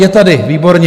Je tady, výborně.